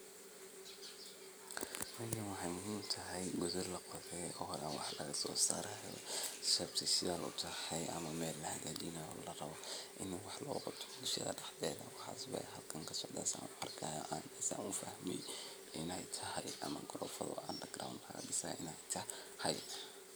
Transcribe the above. shegan waa qaro qaraahasoo waxaa loo beera dhul aad iyo aad ufican caradiisa nah ay fican tahay carra qoyaan leh waxaa nah waxaan loga helaa dhulkaasi jubooyinka hoose ama shabeelada iyo dhulalka somaalida